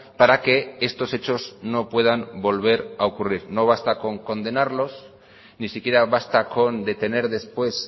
para que estos hechos no puedan volver a ocurrir no basta con condenarlos ni siquiera basta con detener después